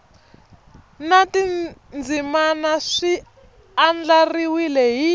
na tindzimana swi andlariwile hi